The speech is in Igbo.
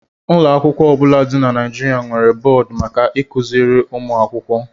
Ụlọ akwụkwọ ọ bụla dị na Nigeria nwere bọọdụ maka ịkụziri ụmụ akwụkwọ